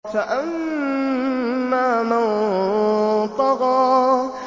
فَأَمَّا مَن طَغَىٰ